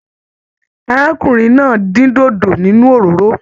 Arákùnrin náà din dodo nínú òróró.